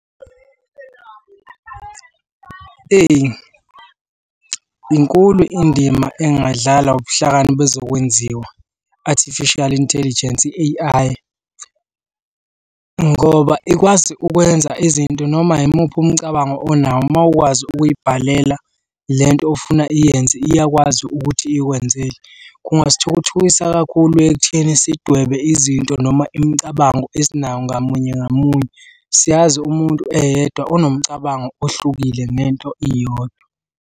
Eyi inkulu indima engadlalwa ubuhlakani bezokwenziwa, artificial intelligence i-A_I, ngoba ikwazi ukwenza izinto noma yimuphi umcabango onawo uma ukwazi ukuy'bhalela le nto ofuna iyenze iyakwazi ukuthi ikwenzele. Kungasithukuthukisa kakhulu ekutheni sidwebe izinto noma imicabango esinayo ngamunye ngamunye. Siyazi umuntu eyedwa onomcabango ohlukile ngento iyodwa.